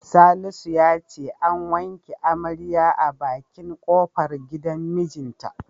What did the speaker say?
Salisu ya ce an wanke amaryar a bakin kofar gidan mijinta.